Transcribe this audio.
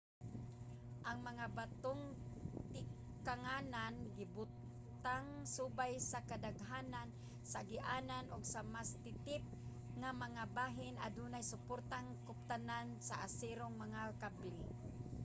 ang mga batong tikanganan gibutang subay sa kadaghanan sa agianan ug sa mas titip nga mga bahin adunay suportang kuptanan sa aserong mga kable